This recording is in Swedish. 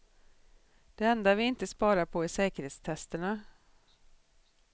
Det enda vi inte sparar på är säkerhetstesterna.